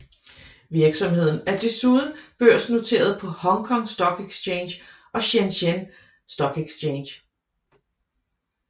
Virksomheden er desuden børsnoteret på Hong Kong Stock Exchange og Shenzhen Stock Exchange